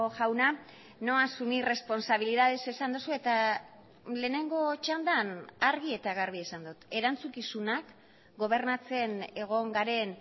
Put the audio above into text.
jauna no asumir responsabilidades esan duzu eta lehenengo txandan argi eta garbi esan dut erantzukizunak gobernatzen egon garen